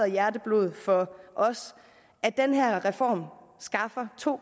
hjerteblod for os at den her reform skaffer to